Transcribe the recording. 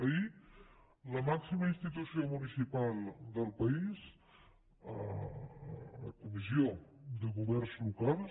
ahir la màxima institució municipal del país a la comissió de governs locals